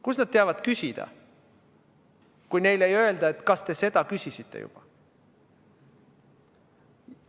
Kust nad teavad küsida, kui neile ei öelda, kas te seda küsisite?